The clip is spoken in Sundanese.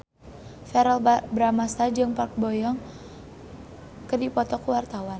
Verrell Bramastra jeung Park Bo Yung keur dipoto ku wartawan